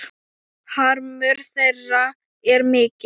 Harmur þeirra er mikill.